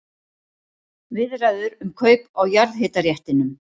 Viðræður um kaup á jarðhitaréttindum